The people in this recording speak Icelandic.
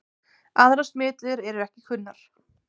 Aðrar smitleiðir eru ekki kunnar.